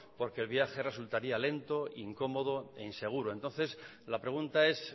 porque el viaje resultaría lento incomodo e inseguro entonces la pregunta es